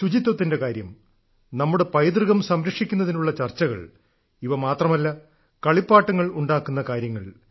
ശുചിത്വത്തിന്റെ കാര്യം നമ്മുടെ പൈതൃകം സംരക്ഷിക്കുന്നതിനുള്ള ചർച്ചകൾ ഇവ മാത്രമല്ല കളിപ്പാട്ടങ്ങൾ ഉണ്ടാക്കുന്ന കാര്യങ്ങൾ